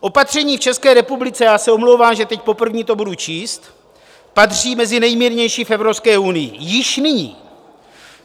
Opatření v České republice - já se omlouvám, že teď poprvé to budu číst - patří mezi nejmírnější v Evropské unii již nyní.